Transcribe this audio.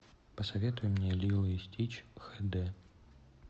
посоветуй мне лило и стич хд